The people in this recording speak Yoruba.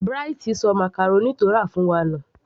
Bright sọ màcàrónì tó rà fún wa nù